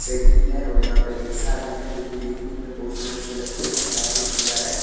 Cycle है और यहाँ पे रिक्सा भी है जो कि दखने मे बहुत ही अच्छे लगते है काफी सुन्दर है।